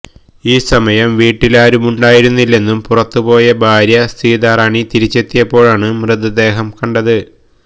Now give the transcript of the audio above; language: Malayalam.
ഈ സമയം വീട്ടിലാരുമുണ്ടായിരുന്നില്ലെന്നും പുറത്തുപോയ ഭാര്യ സീതാറാണി തിരിച്ചെത്തിയപ്പോഴാണ് മൃതദേഹം കണ്ടത്